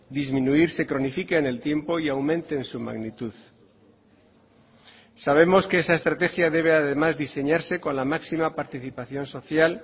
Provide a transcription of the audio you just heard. disminuir se cronifique en el tiempo y aumente en su magnitud sabemos que esa estrategia debe además diseñarse con la máxima participación social